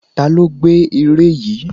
Ta ló gbẹ́ ère yìí?